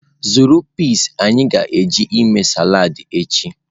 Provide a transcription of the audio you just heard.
Zụrụ peas anyị ga-eji eme salad echi.